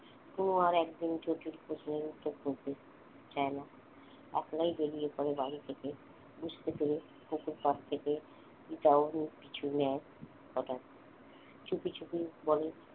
কোন আর একদিন যদি প্রশ্ন ওঠে আপনি বেরিয়ে এরপর বাড়ি থেকে পুকুরপাড় থেকে কিছু নেয় কটা চুপিচুপি বলে